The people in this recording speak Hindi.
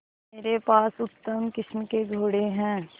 मेरे पास उत्तम किस्म के घोड़े हैं